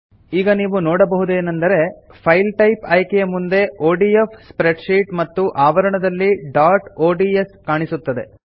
ಈಗ ನೀವು ನೋಡಬಹುದೇನೆಂದರೆ ಫೈಲ್ ಟೈಪ್ ಆಯ್ಕೆಯ ಮುಂದೆ ಒಡಿಎಫ್ ಸ್ಪ್ರೆಡ್ಶೀಟ್ ಮತ್ತು ಆವರಣದಲ್ಲಿ ಡಾಟ್ ಒಡಿಎಸ್ ಕಾಣಿಸುತ್ತದೆ